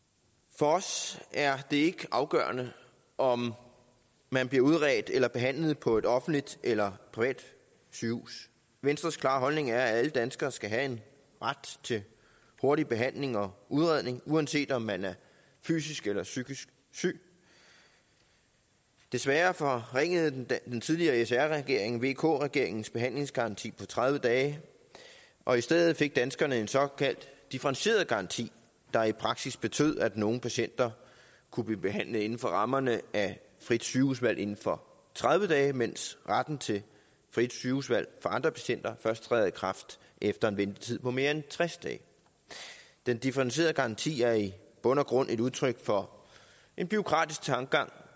for os er det ikke afgørende om man bliver udredt eller behandlet på et offentligt eller privat sygehus venstres klare holdning er at alle danskere skal have ret til hurtig behandling og udredning uanset om man er fysisk eller psykisk syg desværre forringede den tidligere regering sr regeringen vk regeringens behandlingsgaranti på tredive dage og i stedet fik danskerne en såkaldt differentieret garanti der i praksis betød at nogle patienter kunne blive behandlet inden for rammerne af frit sygehusvalg inden for tredive dage mens retten til frit sygehusvalg for andre patienter først træder i kraft efter en ventetid på mere end tres dage den differentierede garanti er i bund og grund et udtryk for en bureaukratisk tankegang